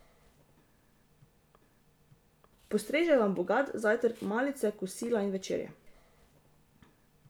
Postrežejo vam bogat zajtrk, malice, kosila in večerje.